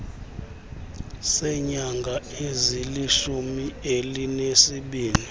seenyanga ezilishumi elinesibini